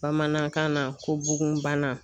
Bamanankan na ko bugun bana.